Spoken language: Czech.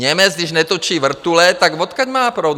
Němec, když netočí vrtule, tak odkud má proud?